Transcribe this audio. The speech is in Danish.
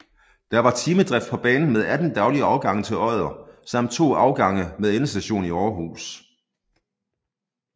Der var timedrift på banen med 18 daglige afgange til Odder samt to afgange med endestation i Aarhus